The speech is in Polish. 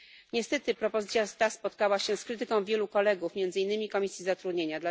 Niestety propozycja ta spotkała się z krytyką wielu kolegów, między innymi z Komisji Zatrudnienia,